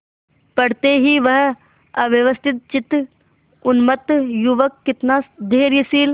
पड़ते ही वह अव्यवस्थितचित्त उन्मत्त युवक कितना धैर्यशील